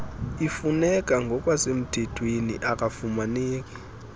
ifuneka ngokwasemthethweni akafumaneki